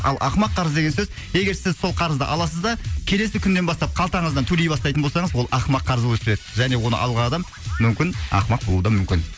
ал ақымақ қарыз деген сөз егер сіз сол қарызды аласыз да келесі күннен бастап қалтаңыздан төлей бастайтын болсаңыз ол ақымақ қарыз болып есептеледі және оны алған адам мүмкін ақымақ болуы да мүмкін